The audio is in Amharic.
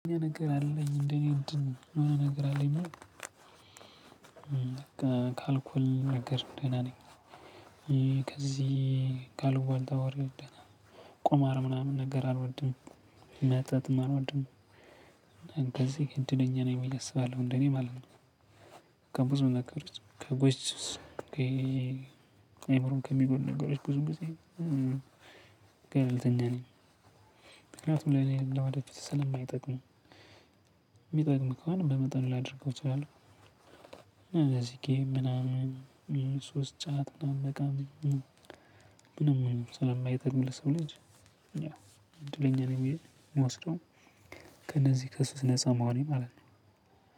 ነገር አለኝ እንደኔ እንድን የሆነ ነገር አለኝ በቃ ካልኩል ነገር ደህና ነኝ ከዚህ ካልቧልታ ቆማር ምናምን ነገር አልወድም። መጠጥም አልወድም እንደዚህ እንደለኛ ነኝ የሚል አስባለሁ እንደኔ ማለት ነው ከብዙ መክብር ከጎሽ ከአእምሮን ከሚጎድ ነገሮች ብዙ ጊዜ ገልተኛ ነኝ ምክንያቱም ላይ እኔ ለዋዳጅ ስለማይጠቅም የሚጠቅም ከሆነ በመጠኑ ላድርገው እችላለሁ እና እዚህ ጋር ምናምን ሶስት ጫት ምናምን መቃመን ምንም ሰለማይተን ለሰው ልጅ እኛ እንድለኛ ነው የሚሄድ የምወስደው ከነዚህ ከሱት ነፃ መሆኔ ማለት ነው።